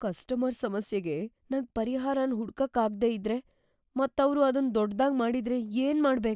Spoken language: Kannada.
ಕಸ್ಟಮರ್‌ ಸಮಸ್ಯೆಗೆ ನಂಗ್ ಪರಿಹಾರನ್ ಹುಡುಕಕ್ ಆಗ್ದೇ ಇದ್ರೆ ಮತ್ ಅವ್ರು ಅದನ್ ದೊಡ್ಡದಾಗ್ ಮಾಡಿದ್ರೆ ಏನು ಮಾಡ್ಬೇಕ್ ?